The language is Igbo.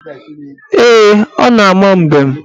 Ee, ọ na-ama mbem.